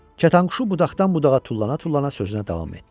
Kətanquşu budaqdan budağa tullana-tullana sözünə davam etdi.